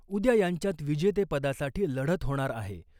उद्या यांच्यात विजेतेपदासाठी लढत होणार आहे .